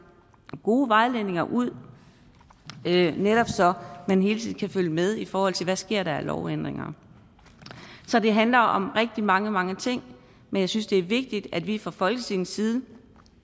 gode vejledninger ud netop så man hele tiden kan følge med i forhold til hvad der sker af lovændringer så det handler om rigtig mange mange ting men jeg synes det er vigtigt at vi fra folketingets side